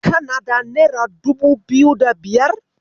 Kana da nera dubu biyu da biyar?